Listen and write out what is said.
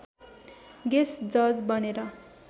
guest जज बनेर